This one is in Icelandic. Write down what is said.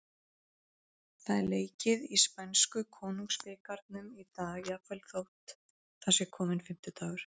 Það er leikið í spænsku Konungsbikarnum í dag, jafnvel þótt það sé kominn fimmtudagur.